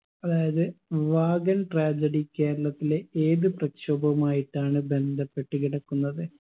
അതായത് wagon tragedy കേരളത്തിലെ ഏത് പ്രക്ഷോഭവുമായിട്ടാണ് ബന്ധപ്പെട്ടു കിടക്കുന്നത്